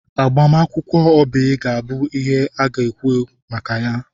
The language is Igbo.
Agbamakwụkwọ Oby ga-abụ ihe a na-ekwu maka ya.